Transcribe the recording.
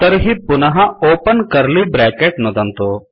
तर्हि पुनः open curly bracket नुदतु